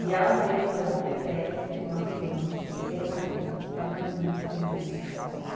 E ela veio morar para o prédio com uma criança, sem marido, era uma menina que saía de manhã para trabalhar,